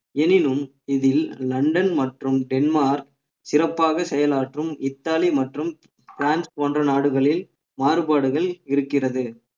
எனினும் இதில் லண்டன் மற்றும் டென்மார்க் சிறப்பாக செயலாற்றும் இத்தாலி மற்றும் பிரான்ஸ் போன்ற நாடுகளில் மாறுபாடுகள் இருக்கிறது